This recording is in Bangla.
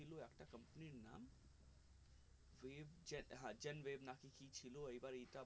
chat হা চ্যান web কি কি ছিল এইবার এইটা